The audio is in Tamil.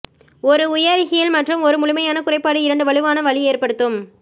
ஒரு உயர் ஹீல் மற்றும் ஒரு முழுமையான குறைபாடு இரண்டு வலுவான வலி ஏற்படுத்தும்